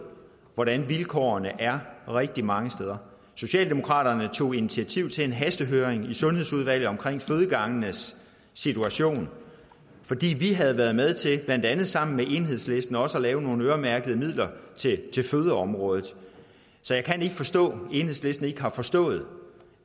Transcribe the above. hvordan vilkårene er rigtig mange steder socialdemokratiet tog initiativ til en hastehøring i sundhedsudvalget om fødegangenes situation fordi vi havde været med til blandt andet sammen med enhedslisten også at finde nogle øremærkede midler til fødeområdet så jeg kan ikke forstå at enhedslisten ikke har forstået